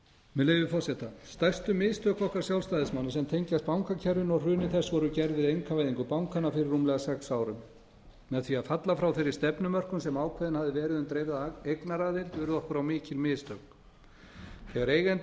með leyfi forseta stærstu mistök okkar sjálfstæðismanna sem tengjast bankakerfinu og hruni þess voru gerð við einkavæðingu bankanna fyrir rúmlega sex árum með því að falla frá þeirri stefnumörkun sem ákveðin hafði verið um dreifða eignaraðild urðu okkur á mikil mistök þegar eigendur